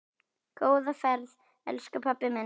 Góða ferð, elsku pabbi minn.